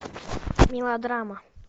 мелодрама